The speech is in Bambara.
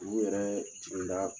yɛrɛ jigin da.